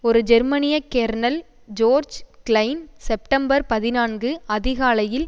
ஒரு ஜெர்மனிய colonel George Klein September பதினான்கு அதிகாலையில்